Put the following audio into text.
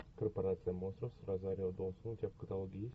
корпорация монстров с розарио доусон у тебя в каталоге есть